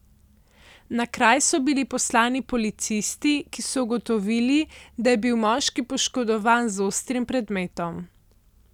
Na kraj so bili poslani policisti, ki so ugotovili, da je bil moški poškodovan z ostrim predmetom.